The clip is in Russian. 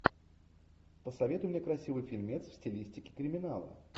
посоветуй мне красивый фильмец в стилистике криминала